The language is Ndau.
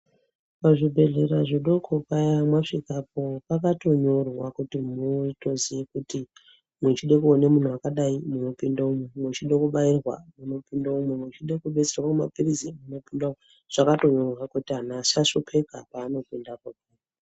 Pazvibhedhlera zvidoko paya masvikapo pakatonyorwa, kuti mutoziya kuti mwechida kuone munhu wakadai munopinde umu, mechide kubayirwa munopinda imu, mechida kudetserwa maphiritsi munopinda umu. Zvakatonyorwa kuti antu asashupika paanopindapo.